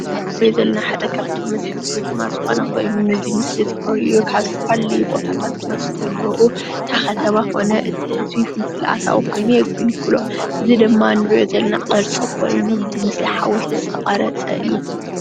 እዚ እንሪኦ ዘለና ሓደ ካብቶም መስሕብ ቱሪዝማት ሓደ ኮይኑ ነዚ ምስሊ ክርእዩ ዝመፁ ካብ ዝተፈላለዩ ቦታታት ክመፅእ ከሎ እታ ከተማ ኮነ እቲ ህዝቢ ፍልፍል ኣታዊ ኮይኑ የገልግሎ፡፡ እዚ ድማ እንሪኦ ዘለና ቅርፂ ኮይኑ ብምስሊ ሓወልቲ ዝተቀረፀ እዩ፡፡